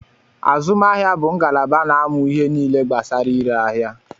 Azụmahịa bu ngalaba na-amụ ihe nile gbasara ire aḥia